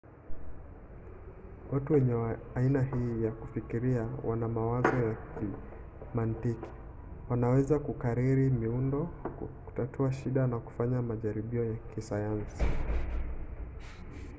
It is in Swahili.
watu wenye aina hii ya kufikiria wana mawazo ya kimantiki wanaweza kukariri miundo kutatua shida na kufanya majaribio ya kisayansi